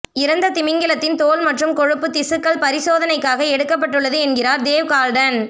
இறந்த திமிங்கலத்தின் தோல் மற்றும் கொழுப்பு திசுக்கள் பரிசோதனைக்காக எடுக்கப்பட்டுள்ளது என்கிறார் தேவ் கார்ல்டன்